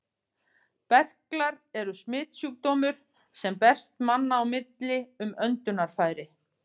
Berklar eru smitsjúkdómur, sem berst manna á milli um öndunarfæri.